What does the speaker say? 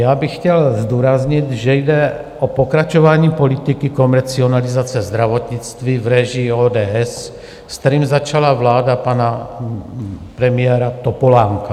Já bych chtěl zdůraznit, že jde o pokračování politiky komercializace zdravotnictví v režii ODS, s kterým začala vláda pana premiéra Topolánka.